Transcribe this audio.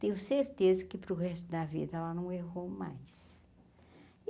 Tenho certeza que para o resto da vida ela não errou mais.